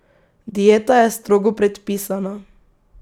Dieta je strogo predpisana.